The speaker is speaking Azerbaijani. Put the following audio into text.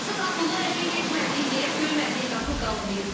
Azad Abdullayevin getmədiyi yer, döymədiyi qapı qalmayıb.